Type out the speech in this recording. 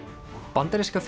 bandaríska